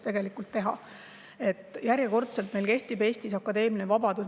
Järjekordselt, et meil Eestis kehtib akadeemiline vabadus.